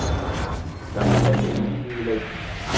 Þetta hleypir lífi í leikinn!